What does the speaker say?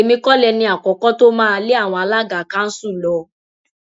èmi kọ lẹni àkọkọ tó máa lé àwọn alága kanṣu lọ